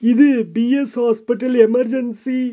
இது P S hospital emergency .